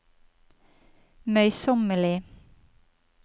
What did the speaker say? møysommelig